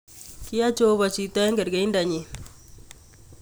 Kiyai jeobo chito eng kerkeido nyin.